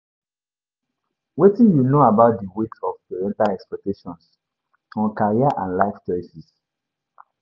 wetin you know about di weight of parental expactations on career and life choices?